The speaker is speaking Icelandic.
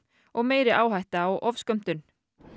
og meiri hætta á ofskömmtun